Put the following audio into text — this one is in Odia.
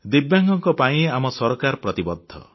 ଦିବ୍ୟାଙ୍ଗଙ୍କ ପାଇଁ ଆମ ସରକାର ପ୍ରତିବଦ୍ଧ